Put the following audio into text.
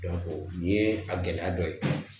nin ye a gɛlɛya dɔ ye